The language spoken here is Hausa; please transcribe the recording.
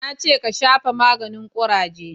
Na ce ka shafa maganin kuraje!